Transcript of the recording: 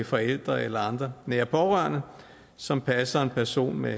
forældre eller andre nære pårørende som passer en person med